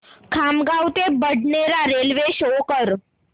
खामगाव ते Badnera railway show कर